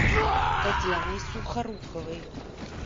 татьяной сухоруковой